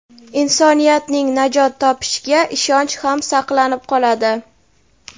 insoniyatning najot topishiga ishonch ham saqlanib qoladi.